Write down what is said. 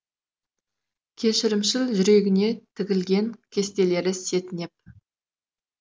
кешірімшіл жүрегіне тігілген кестелері сетінеп